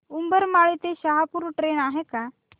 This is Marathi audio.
उंबरमाळी ते शहापूर ट्रेन आहे का